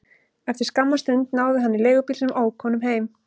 Eftir skamma stund náði hann í leigubíl sem ók honum heim.